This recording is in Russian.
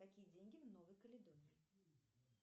какие деньги в новой каледонии